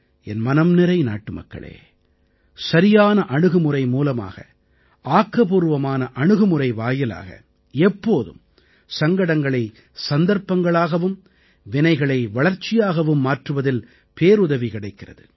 என் மனம்நிறை நாட்டுமக்களே சரியான அணுகுமுறை மூலமாக ஆக்கப்பூர்வமான அணுகுமுறை வாயிலாக எப்போதும் சங்கடங்களை சந்தர்ப்பங்களாகவும் வினைகளை வளர்ச்சியாகவும் மாற்றுவதில் பேருதவி கிடைக்கிறது